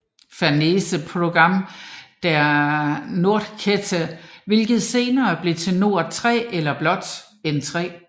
Fernsehprogramm der Nordkette hvilket senere blev til Nord 3 eller blot N3